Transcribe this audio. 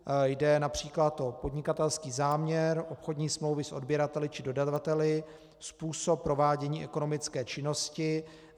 Jde například o podnikatelský záměr, obchodní smlouvy s odběrateli či dodavateli, způsob provádění ekonomické činnosti.